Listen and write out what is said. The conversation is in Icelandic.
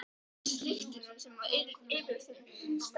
Ég þekkti strax lyktina sem var yfirþyrmandi sterk.